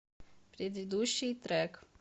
предыдущий трек